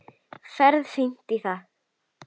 Ferð fínt í það.